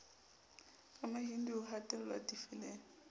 wa mahindu ho hatellwa difeleng